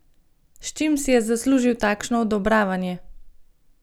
S čim si je zaslužil takšno odobravanje?